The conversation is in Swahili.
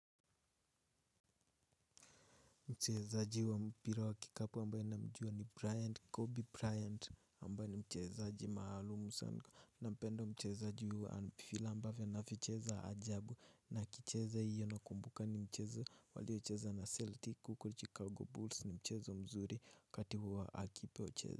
Mchezaji wa mpira wa kikapu ambaye namjua ni Bryant Kobe Bryant ambaye ni mchezaji maalum sana nampenda mchezaji huu vile ambavyo anavyocheza ajabu na akicheza hiyo nakumbuka ni mchezo waliocheza na Celtic huko Chicago Bulls ni mchezo mzuri wakati huwa akipocheza.